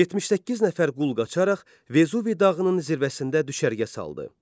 78 nəfər qul qaçaraq Vezuvi dağının zirvəsində düşərgə saldı.